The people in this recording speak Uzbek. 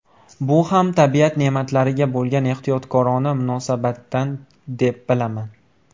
Bu ham tabiat ne’matlariga bo‘lgan ehtiyotkorona munosabatdan deb bilaman.